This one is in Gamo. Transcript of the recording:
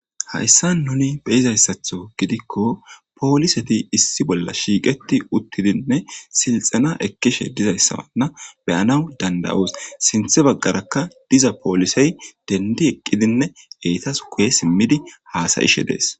Hayssan nuni be'izayssatho gidikko poliseti issi bolla shiiqiti uttidinne silxxena ekkishe dizayssa be'annawu danddoyssi. Sinththa baggarakka diza poliseyi denddi eqqidine eetasi guye simmidine hasayishe de'eesi.